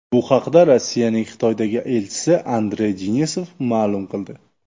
Bu haqda Rossiyaning Xitoydagi elchisi Andrey Denisov ma’lum qildi.